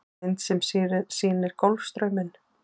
Mynd sem sýnir Golfstrauminn.